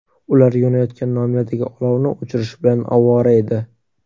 Ular yonayotgan nomerdagi olovni o‘chirish bilan ovora edi.